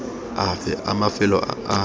afe a mafelo a a